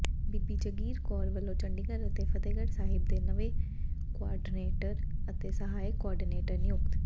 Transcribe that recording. ਬੀਬੀ ਜਗੀਰ ਕੌਰ ਵੱਲੋਂ ਚੰਡੀਗੜ੍ਹ ਅਤੇ ਫਤਿਹਗੜ੍ਹ ਸਾਹਿਬ ਦੇ ਨਵੇਂ ਕੋਆਰਡੀਨੇਟਰ ਤੇ ਸਹਾਇਕ ਕੋਆਰਡੀਨੇਟਰ ਨਿਯੁਕਤ